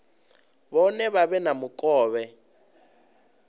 vhone vha vhe na mukovhe